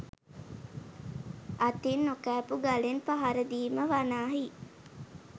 අතින් නොකෑපූ ගලෙන් පහරදීම වනාහි